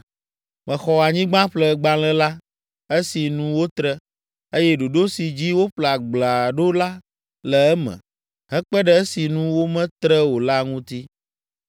Mexɔ anyigbaƒlegbalẽ la, esi nu wotre, eye ɖoɖo si dzi woƒle agblea ɖo la le eme, hekpe ɖe esi nu wometre o la ŋuti.